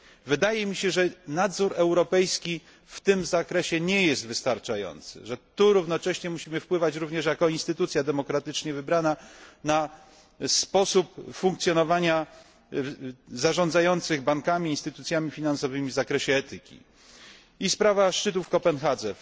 Wydaje mi się, że nadzór europejski w tym zakresie nie jest wystarczający i że tu równocześnie musimy wpływać, również jako instytucja demokratycznie wybrana, na sposób funkcjonowania zarządzających bankami i instytucjami finansowymi w zakresie etyki. I sprawa szczytu w Kopenhadze.